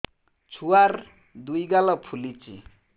ଛୁଆର୍ ଦୁଇ ଗାଲ ଫୁଲିଚି